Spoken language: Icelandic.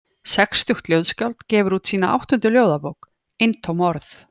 Sextugt ljóðskáld gefur út sína áttundu ljóðabók, Eintóm orð.